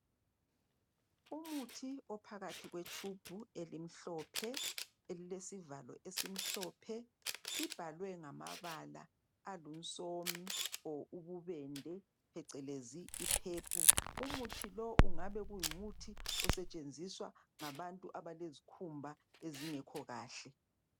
Umuthi ophakathi kwetshubhu elimhlophe elilesivalo esimhlophe ibhalwe ngamabala alunsomi or ububende phecelezi i-purple. Umuthi lo ungabe kungumuthi osetshenziswa ngabantu abalezikhumba ezingekho kahle.